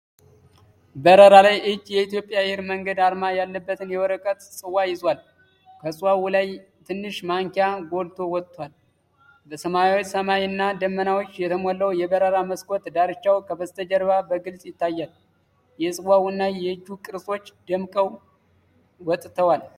በበረራ ላይ እጅ የእትዮጵያ አየር መንገድ አርማ ያለበትን የወረቀት ጽዋ ይዟል። ከጽዋው ላይ ትንሽ ማንኪያ ጎልቶ ወጥቷል። በሰማያዊ ሰማይ እና ደመናዎች የተሞላው የበረራ መስኮት ዳርቻው ከበስተጀርባ በግልጽ ይታያል። የጽዋው እና የእጁ ቅርጾች ደምቀው ወጥተዋል።